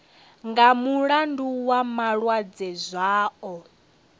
nga mulandu wa malwadze zwao